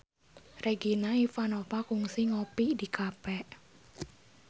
Regina Ivanova kungsi ngopi di cafe